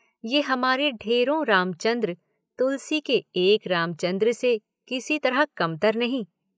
उम्र से फ़र्क भी क्या पड़ता है।